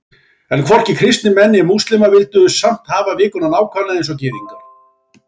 En hvorki kristnir menn né múslímar vildu samt hafa vikuna nákvæmlega eins og Gyðingar.